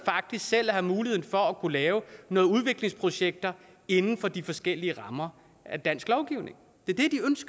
selv at have muligheden for at kunne lave nogle udviklingsprojekter inden for de forskellige rammer af dansk lovgivning det